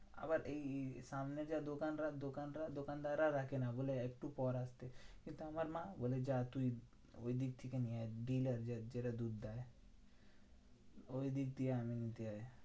আবার এই এই সামনে যা দোকানরা দোকানরা দোকানদাররা রাখে না। বলে একটু পরে আসতে, কিন্তু আমার মা বলে যা তুই ওইদিক থেকে নিয়ে আয় dealer যার যারা দুধ দেয়। ওইদিক দিয়ে আনিয়ে নিতে হয়।